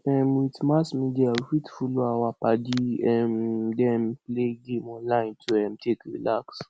um with mass media we fit follow our padi um them play game online to um take relax